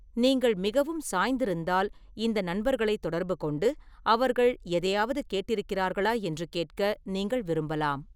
நீங்கள் மிகவும் சாய்ந்திருந்தால், இந்த நண்பர்களைத் தொடர்புகொண்டு அவர்கள் எதையாவது கேட்டிருக்கிறார்களா என்று கேட்க நீங்கள் விரும்பலாம்.